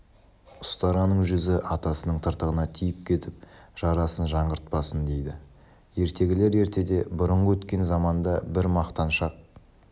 ұстараның жүзі атасының тыртығына тиіп кетіп жарасын жаңғыртпасын дейді ертегілер ертеде бұрынғы өткен заманда бір мақтаншақ